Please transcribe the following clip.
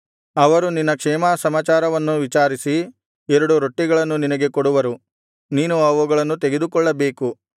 ಅವರು ನಿನ್ನ ಕ್ಷೇಮಸಮಾಚಾರವನ್ನು ವಿಚಾರಿಸಿ ಎರಡು ರೊಟ್ಟಿಗಳನ್ನು ನಿನಗೆ ಕೊಡುವರು ನೀನು ಅವುಗಳನ್ನು ತೆಗೆದುಕೊಳ್ಳಬೇಕು